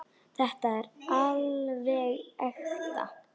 Þetta er alveg ekta.